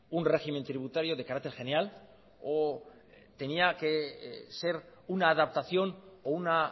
un régimen tributario de carácter general o tenía que ser una adaptación o una